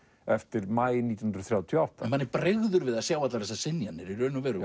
eftir maí nítján hundruð þrjátíu og átta manni bregður við að sjá allar þessar synjanir í raun og veru